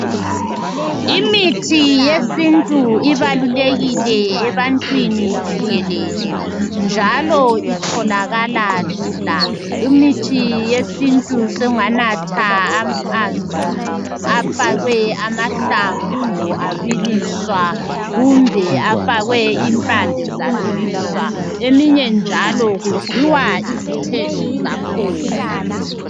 Imithi yesintu ibalulekile ebantwini jikelele njalo itholakala lula imithi yesintu sunganatha amanzi afakwe amahlamvu abiliswa kumbe afakwe impande zabiliswa eminye njalo kudliwa izithelo zakhona